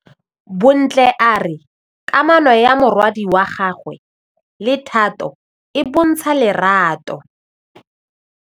Bontle a re kamanô ya morwadi wa gagwe le Thato e bontsha lerato.